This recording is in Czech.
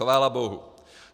Chvála bohu.